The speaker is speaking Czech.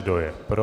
Kdo je pro?